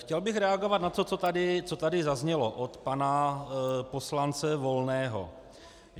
Chtěl bych reagovat na to, co tady zaznělo od pana poslance Volného.